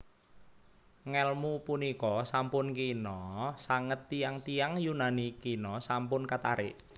Ngèlmu punika sampun kina sanget tiyang tiyang Yunani kina sampun katarik